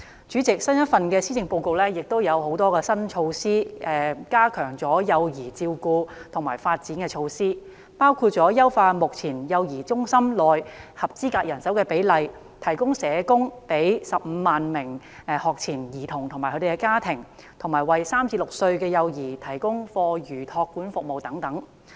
主席，新一份施政報告有很多加強幼兒照顧及發展的新措施，包括優化目前幼兒中心合資格人手比例、為15萬名學前兒童及其家庭提供社工服務，以及為3至6歲幼兒提供課餘託管服務等。